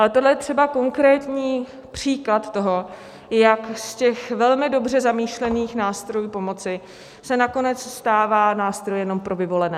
Ale tohle je třeba konkrétní příklad toho, jak z těch velmi dobře zamýšlených nástrojů pomoci se nakonec stává nástroj jenom pro vyvolené.